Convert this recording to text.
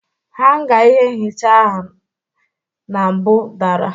Hanga ihe nhicha ahụ na mbụ dara.